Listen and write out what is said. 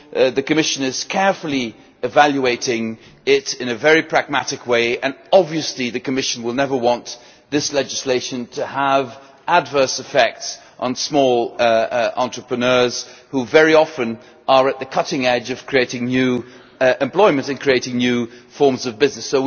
The Commission is carefully evaluating it in a very pragmatic way and obviously the Commission will never want this legislation to have adverse effects on small entrepreneurs who are very often at the cutting edge of creating new employment and creating new forms of business.